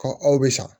aw bɛ sa